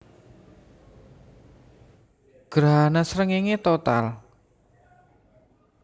Grahana srengéngé total